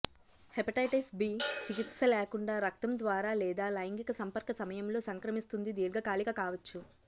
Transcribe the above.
hepatitis B చికిత్స లేకుండా రక్తం ద్వారా లేదా లైంగిక సంపర్క సమయంలో సంక్రమిస్తుంది దీర్ఘకాలిక కావచ్చు